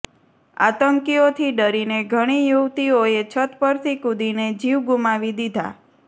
આતંકીઓથી ડરીને ઘણી યુવતીઓએ છત પરથી કૂદીને જીવ ગુમાવી દીધા